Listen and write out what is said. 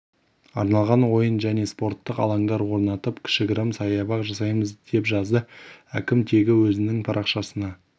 арналған ойын және спорттық алаңдар орнатып кішігірім саябақ жасаймыз деп жазды әкім тегі өзінің парақшасына